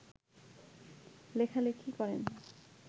লেখালেখি করেন